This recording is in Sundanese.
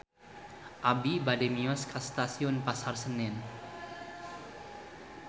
Abi bade mios ka Stasiun Pasar Senen